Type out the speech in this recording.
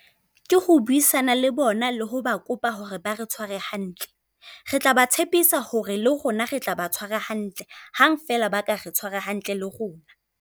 Ke ho buisana le bona le ho ba kopa hore ba re tshware hantle. Re tla ba tshepisa hore le rona re tla ba tshwara hantle, hang fela ba ka re tshwara hantle le rona.